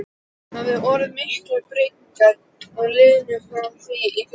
Hafa orðið miklar breytingar á liðinu frá því í fyrra?